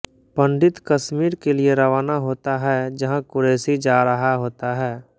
पंडित कश्मीर के लिए रवाना होता है जहाँ क़ुरैशी जा रहा होता है